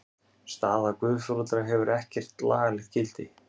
Staða guðforeldra hefur ekkert lagalegt gildi.